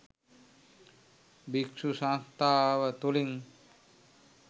භික්‍ෂු සංස්ථාව තුළින්